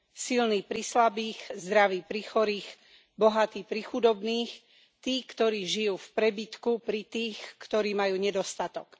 Silní pri slabých, zdraví pri chorých, bohatí pri chudobných, tí, ktorí žijú v prebytku, pri tých, ktorí majú nedostatok.